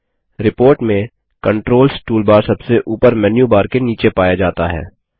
report में controls toolbar सबसे ऊपर मेन्यू बार के नीचे पाया जाता है